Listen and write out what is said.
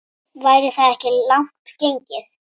Væri það ekki langt gengið?